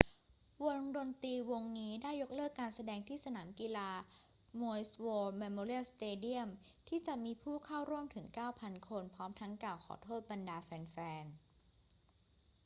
วงดนตรีวงนี้ได้ยกเลิกการแสดงที่สนามกีฬา maui's war memorial stadium ที่จะมีผู้เข้าร่วมถึง 9,000 คนพร้อมทั้งกล่าวขอโทษบรรดาแฟน ๆ